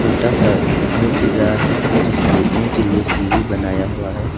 छोटा सा घर दिख रहा है जिसमें उठने के लिए सीढ़ी बनाया हुआ है।